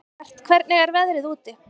Ellert, hvernig er veðrið úti?